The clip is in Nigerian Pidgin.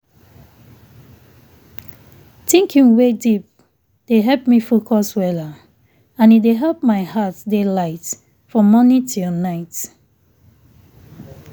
thinking wey deep dey help me focus weller and e dey help my heart dey light from morning till night.